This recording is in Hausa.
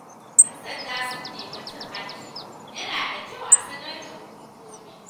Idan ‘yan sanda sun nemi cin hanci, yana da kyau a sanar da hukumomi.